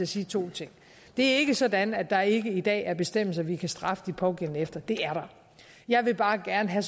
sige to ting det er ikke sådan at der ikke i dag er bestemmelser vi kan straffe de pågældende efter det er der jeg vil bare gerne have